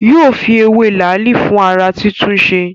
Yóò fi ewé làálì fún ará túntúnse